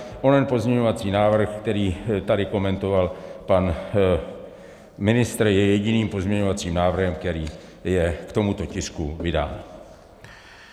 Onen pozměňovací návrh, který tady komentoval pan ministr, je jediným pozměňovacím návrhem, který je k tomuto tisku vydán.